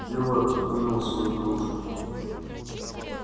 билл отодвинул свою кружку